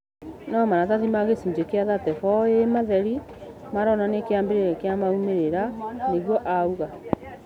No maratathi ma gĩcunjĩ kĩa 34A matherĩ maronanĩa kĩambĩrĩa kia maumĩrĩra," niguo auga